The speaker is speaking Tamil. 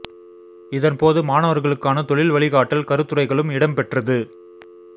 இதன் போது மாணவர்களுக்கான தொழில் வழிகாட்டல் கருத்துரைகளும் இடம்பெற்றது